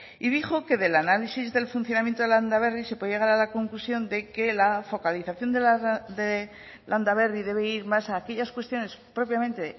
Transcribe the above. y dijo que del análisis del funcionamiento de landaberri se puede llegar a la conclusión de que la focalización de landaberri debe ir más a aquellas cuestiones propiamente